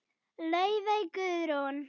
Laufey Guðrún.